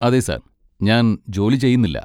അതെ സർ. ഞാൻ ജോലി ചെയ്യുന്നില്ല.